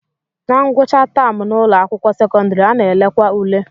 Na ngwụcha taam n'ụlọakwụkwọ sekọndịrị, a na-elekwa ule